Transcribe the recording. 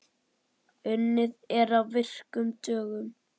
Unnið er á virkum dögum.